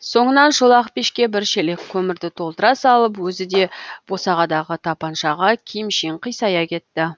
соңынан шолақ пешке бір шелек көмірді толтыра салып өзі де босағадағы тапаншаға киімшең қисая кетті